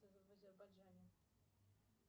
в азербайджане